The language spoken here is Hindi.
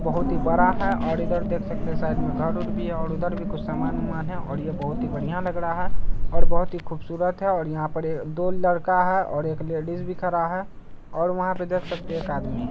और यह बहुत ही बड़ा है और इधर देख सकते हैं साइड में घर उर भी है और उधर भी कुछ समान-उमान है और ये बहुत ही बढ़िया लग रहा है और बहुत ही खूबसूरत है और यहाँ पर दो लड़का है और एक लेडिस भी खड़ा है और वहाँ पर देख सकते है एक आदमी --